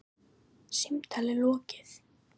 Símtali lokið.